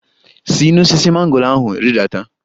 Si n'osisi mango ahụ rịdata!